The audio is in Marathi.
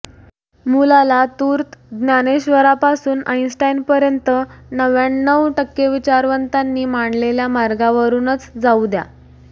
मुलाला तूर्त ज्ञानेश्वरापासून आइनस्टाइनपर्यंत नव्याण्णव टक्के विचारवंतांनी मानलेल्या मार्गावरूनच जाऊ द्या